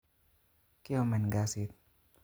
Kiomen kasit